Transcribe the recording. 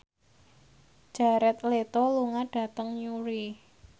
Jared Leto lunga dhateng Newry